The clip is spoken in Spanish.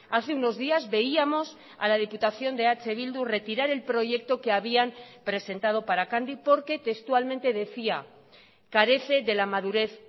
hace unos días veíamos a la diputación de eh bildu retirar el proyecto que habían presentado para candy porque textualmente decía carece de la madurez